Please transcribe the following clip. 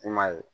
I m'a ye